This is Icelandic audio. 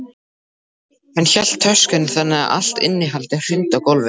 Hann hélt töskunni þannig að allt innihaldið hrundi á gólfið.